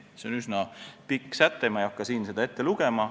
See üsna pikk säte ja ma ei hakka seda siin ette lugema.